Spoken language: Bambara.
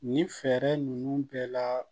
Nin fɛɛrɛ ninnu bɛɛ la